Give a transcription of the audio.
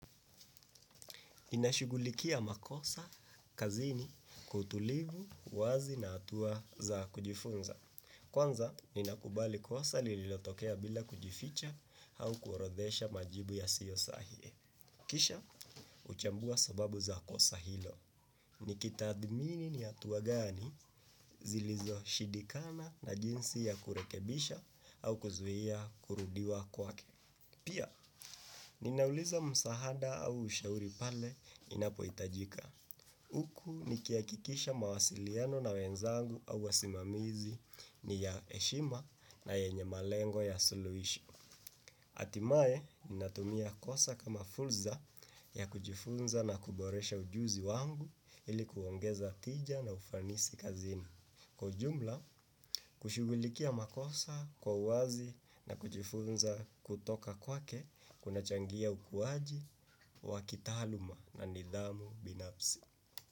Ninashugulikia makosa, kazini, kwa utulivu, wazi na atuwa za kujifunza. Kwanza ninakubali kosa lilotokea bila kujificha au kuoredesha majibu yasiyo sahihi. Kisha, uchambua sababu za kosa hilo. Nikitathmini ni hatua gani zilizoshindikana na jinsi ya kurekebisha au kuzuia kurudiwa kwake. Pia, ninauliza msahada au ushauri pale inapohitajika. Huku nikihakikisha mawasiliano na wenzangu au wasimamizi ni ya heshima na yenye malengo ya suluhisho hatimaye ninatumia kosa kama fulsa ya kujifunza na kuboresha ujuzi wangu ili kuongeza tija na ufanisi kazini. Kwa jumla, kushughulikia makosa kwa uwazi na kujifunza kutoka kwake kuna changia ukuwaji, wa kitaaluma na nidhamu binafsi.